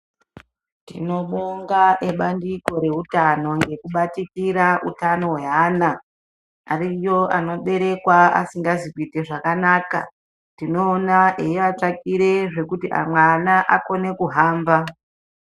Tinobonga ebandiko reutano ngekubatikira utano hweana. Ariyo anoberekwa asingazi kuite zvakanaka, tinoona eiatsvakire zvekuti amwe ana akone kuhamba.